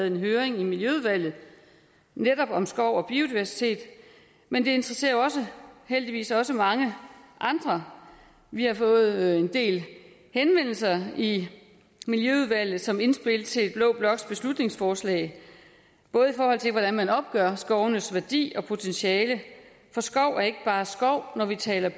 en høring i miljøudvalget netop om skov og biodiversitet men det interesserer jo heldigvis også mange andre vi har fået en del henvendelser i miljøudvalget som indspil til blå bloks beslutningsforslag i forhold til hvordan man opgør skovenes værdi og potentiale for skov er ikke bare skov når vi taler